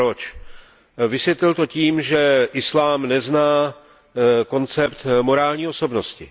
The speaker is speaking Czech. Proč? Vysvělil to tím, že islám nezná koncept morální osobnosti.